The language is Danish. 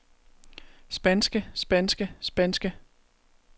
spanske spanske spanske